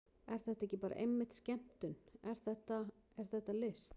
Er þetta ekki bara einmitt skemmtun, er þetta, er þetta list?